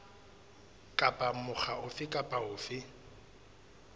kapa mokga ofe kapa ofe